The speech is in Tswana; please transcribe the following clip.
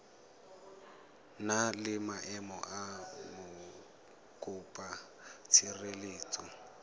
na le maemo a mokopatshireletso